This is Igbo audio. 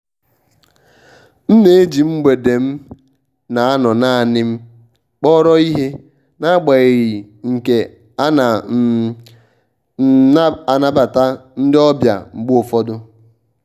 m na-eji mgbede m na-anọ naanị kpọrọ ihe n'agbanyeghị nke a ana um m anabata ndị ọbịa mgbe ụfọdụ.